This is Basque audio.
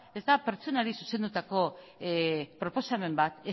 ez da pertsonari zuzendutako proposamen bat